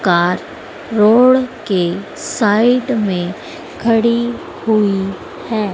Car road के side में खड़ी हुई है।